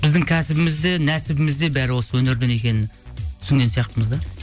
біздің кәсібіз де нәсібіміз де бәрі осы өнерден екенін түсінген сияқтымыз да